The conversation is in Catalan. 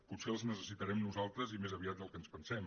potser els necessitarem nosaltres i més aviat del que ens pensem